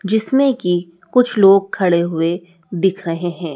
जिसमें कि कुछ लोग खड़े हुए दिख रहे हैं।